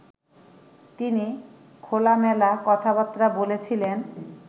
তিনি খোলামেলা কথাবার্তা বলেছিলেন